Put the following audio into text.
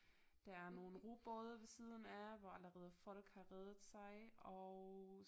Der er nogle robåde ved siden af hvor allerede folk har reddet sig og